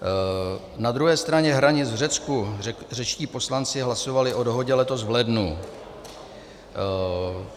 Na druhé straně hranic, v Řecku, řečtí poslanci hlasovali o dohodě letos v lednu.